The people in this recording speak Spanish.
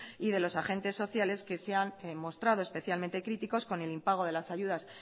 y de los agentes sociales que se han mostrado especialmente críticos con el impago de las ayudas